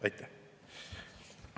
Aitäh!